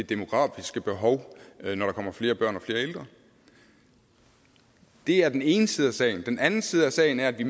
demografiske behov når der kommer flere børn og flere ældre det er den ene side af sagen den anden side af sagen er at vi